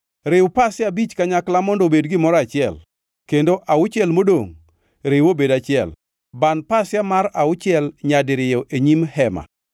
Riw pasia abich kanyakla mondo obed gimoro achiel kendo auchiel modongʼ riw obed achiel. Ban pasia mar auchiel nyadiriyo e nyim hema.